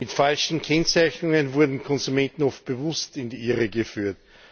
Mit falschen Kennzeichnungen wurden Konsumenten oft bewusst in die Irre geführt.